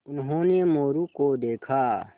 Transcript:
उन्होंने मोरू को देखा